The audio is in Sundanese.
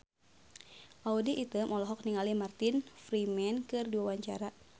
Audy Item olohok ningali Martin Freeman keur diwawancara